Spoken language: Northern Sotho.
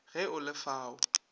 ge o le fa o